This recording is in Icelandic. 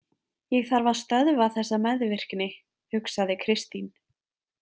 Ég þarf að stöðva þessa meðvirkni, hugsaði Kristín.